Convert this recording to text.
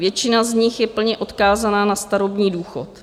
Většina z nich je plně odkázaná na starobní důchod.